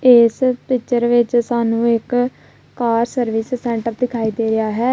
ਏਸ ਪਿਚਰ ਵਿੱਚ ਸਾਨੂੰ ਇੱਕ ਕਾਰ ਸਰਵਿਸ ਸੈਂਟਰ ਦਿਖਾਈ ਦੇ ਰਿਹਾ ਹੈ।